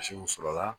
Misiw sɔrɔla